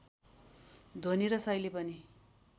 ध्वनी र शैली पनि